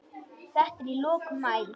Þetta er í lok maí.